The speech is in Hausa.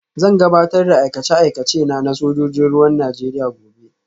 Zan gabatar da aikace-aikacena na sojojin ruwan Najeriya gobe